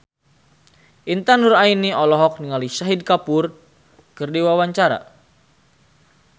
Intan Nuraini olohok ningali Shahid Kapoor keur diwawancara